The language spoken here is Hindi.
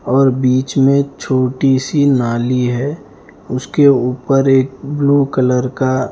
और बीच में छोटी-सी नाली है उसके ऊपर एक ब्लू कलर का--